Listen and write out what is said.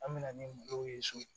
An bɛna ni mɔgɔw ye so